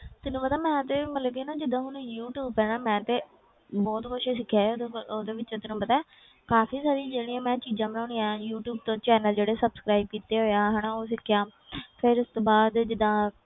ਤੈਨੂੰ ਪਤਾ ਮੈਂ ਤੇ ਮਤਲਬ ਕਿ ਨਾ ਜਿੱਦਾਂ ਹੁਣ ਯੂ ਟਿਊਬ ਹੈ ਨਾ ਮੈਂ ਤੇ ਬਹੁਤ ਕੁਛ ਸਿੱਖਿਆ ਹੈ ਤੈਨੂੰ ਪਤਾ ਉਹਦੇ ਵਿੱਚੋਂ ਤੈਨੂੰ ਪਤਾ ਹੈ ਕਾਫ਼ੀ ਸਾਰੀਆਂ ਜਿਹੜੀਆਂ ਮੈਂ ਚੀਜ਼ਾਂ ਬਣਾਉਂਦੀ ਹਾਂ ਯੂ ਟਿਊਬ ਤੋਂ channel ਜਿਹੜੇ subscribe ਕੀਤੇ ਹੋਏ ਆ ਹਨਾ ਉਹ ਸਿੱਖਿਆ ਫਿਰ ਉਸ ਤੋਂ ਬਾਅਦ ਜਿੱਦਾਂ